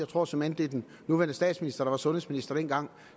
tror såmænd det er den nuværende statsminister der var sundhedsminister dengang